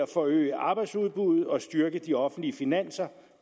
forøge arbejdsudbuddet og styrke de offentlige finanser